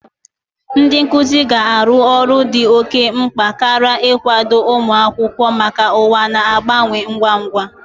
Ndị nkuzi ga-arụ ọrụ dị oke mkpa karịa n'ịkwado ụmụ akwụkwọ maka ụwa na-agbanwe ngwa ngwa.